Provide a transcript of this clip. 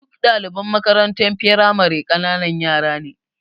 Duk ɗdaliban makarantar firamare ƙananan yara ne.